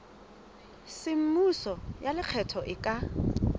semmuso ya lekgetho e ka